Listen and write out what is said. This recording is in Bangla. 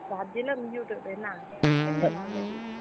ভাবছিলাম Youtube এ, না এমনি normally